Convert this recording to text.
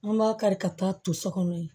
An b'a kari ka taa to so kɔnɔ yen